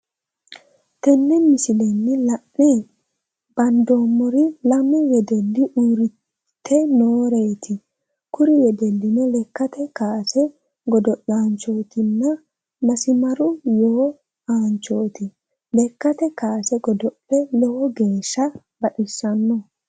Tenne misilenni la'ne bandeemmori lamu wedelli uurrite nooreeti kuri wedellino lekkate kaase godo'laanchootinna masimaru yoo aanchooti lekkate kaase godo'le lowo geeshsha baxissano.